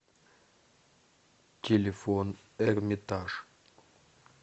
телефон эрмитаж